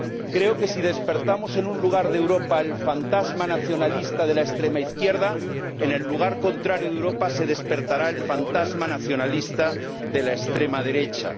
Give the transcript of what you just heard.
Creo que, si despertamos en un lugar de Europa el fantasma nacionalista de la extrema izquierda, en el lugar contrario de Europa se despertará el fantasma nacionalista de la extrema derecha.